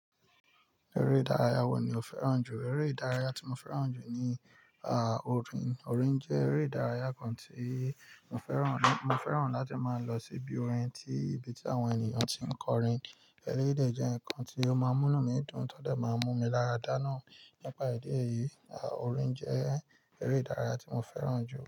Eré ìdárayá wo ni o fẹ́ràn jù? Eré ìdárayá tí mo fẹ́ràn jù ni, ah, orin. Orin jẹ́ eré ìdárayá kan tí mo fẹ́ràn, mo fẹ́ràn láti máa lọ síbi orin, tí ibi tí àwọn ènìyàn tí ń kọrin, ẹlẹ́yi dè jẹ́ nǹkan tí ó máa ń múnú mi dùn, tọ́ de máa ń mú mi lára dáná. Nípa ìdí èyí, ah, orin jẹ́ eré ìdárayá tí mo fẹ́ràn jù.